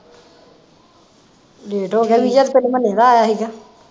late ਹੋ ਗਏ visa ਤੇ ਪਹਿਲੇ ਮੰਨੇ ਦਾ ਆਇਆ ਹੀਗਾ